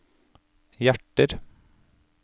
hjerter